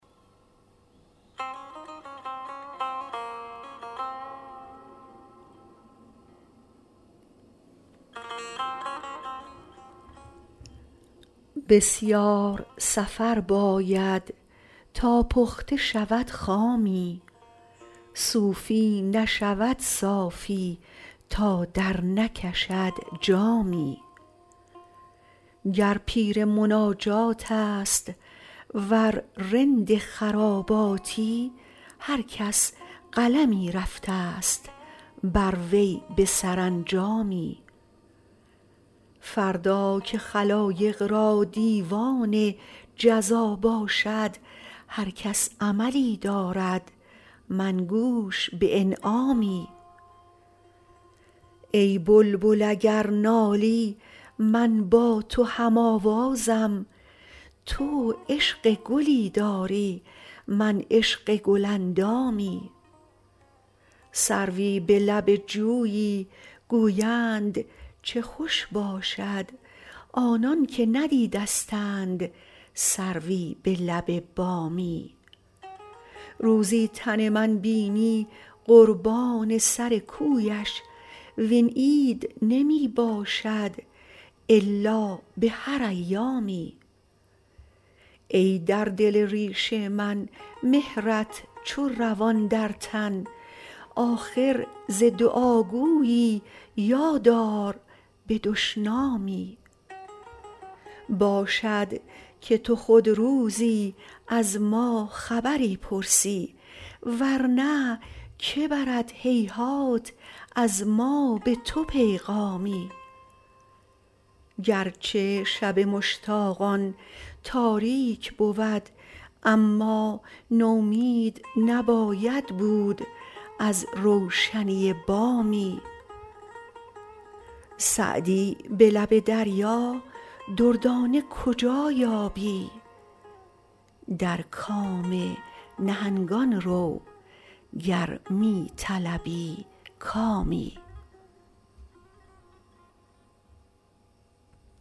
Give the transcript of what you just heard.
بسیار سفر باید تا پخته شود خامی صوفی نشود صافی تا درنکشد جامی گر پیر مناجات است ور رند خراباتی هر کس قلمی رفته ست بر وی به سرانجامی فردا که خلایق را دیوان جزا باشد هر کس عملی دارد من گوش به انعامی ای بلبل اگر نالی من با تو هم آوازم تو عشق گلی داری من عشق گل اندامی سروی به لب جویی گویند چه خوش باشد آنان که ندیدستند سروی به لب بامی روزی تن من بینی قربان سر کویش وین عید نمی باشد الا به هر ایامی ای در دل ریش من مهرت چو روان در تن آخر ز دعاگویی یاد آر به دشنامی باشد که تو خود روزی از ما خبری پرسی ور نه که برد هیهات از ما به تو پیغامی گر چه شب مشتاقان تاریک بود اما نومید نباید بود از روشنی بامی سعدی به لب دریا دردانه کجا یابی در کام نهنگان رو گر می طلبی کامی